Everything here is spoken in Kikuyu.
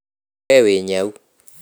We wĩ nyau